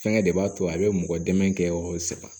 Fɛngɛ de b'a to a bɛ mɔgɔ dɛmɛ kɛ saga